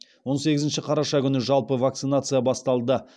он сегізінші қараша күні жалпы вакцинация басталды